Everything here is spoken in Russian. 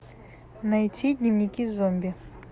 найти дневники зомби